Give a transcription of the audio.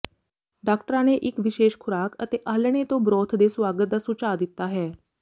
ਡਾਕਟਰਾਂ ਨੇ ਇਕ ਵਿਸ਼ੇਸ਼ ਖ਼ੁਰਾਕ ਅਤੇ ਆਲ੍ਹਣੇ ਤੋਂ ਬਰੋਥ ਦੇ ਸੁਆਗਤ ਦਾ ਸੁਝਾਅ ਦਿੱਤਾ ਹੈ